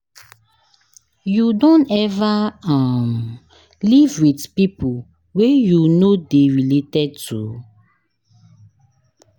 You don ever um live with people wey you no dey related to?